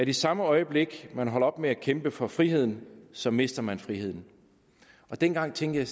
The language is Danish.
i samme øjeblik man holder op med at kæmpe for friheden så mister man friheden dengang tænkte